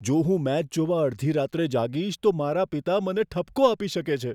જો હું મેચ જોવા અડધી રાત્રે જાગીશ તો મારા પિતા મને ઠપકો આપી શકે છે.